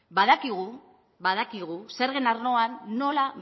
badakigu zergen arloan nola